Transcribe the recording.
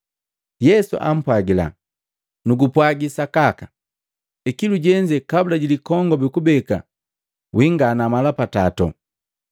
Yesu ampwagila, “Nugupwagi sakaka, ikilu jenze kabula ji likongobi kubeka wingana mala pa tato.”